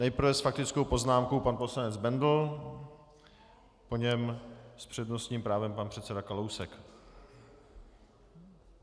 Nejprve s faktickou poznámkou pan poslanec Bendl, po něm s přednostním právem pan předseda Kalousek.